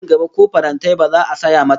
Nan gaba ko farantai ba za a saya mata ba